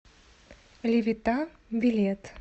левита билет